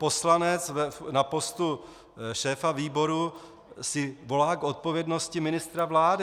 Poslanec na postu šéfa výboru si volá k odpovědnosti ministra vlády.